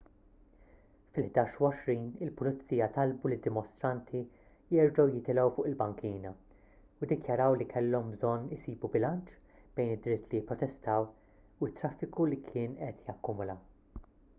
fil-11:20 il-pulizija talbu lid-dimostranti jerġgħu jitilgħu fuq il-bankina u ddikjaraw li kellhom bżonn isibu bilanċ bejn id-dritt li jipprotestaw u t-traffiku li kien qed jakkumula